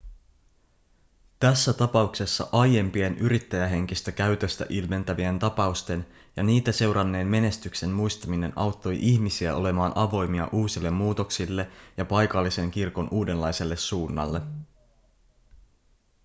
tässä tapauksessa aiempien yrittäjähenkistä käytöstä ilmentävien tapausten ja niitä seuranneen menestyksen muistaminen auttoi ihmisiä olemaan avoimia uusille muutoksille ja paikallisen kirkon uudenlaiselle suunnalle